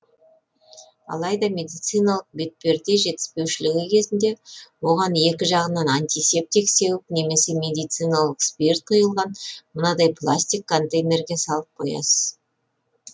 алайда медициналық бетперде жетіспеушілігі кезінде оған екі жағынан антисептик сеуіп немесе медициналық спирт құйылған мынадай пластик контейнерге салып қоясыз